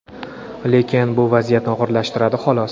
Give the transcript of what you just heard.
lekin bu vaziyatni og‘irlashtiradi xolos.